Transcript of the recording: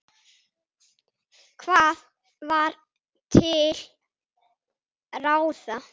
Hvað var til ráða?